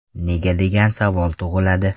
Nega degan savol tug‘iladi.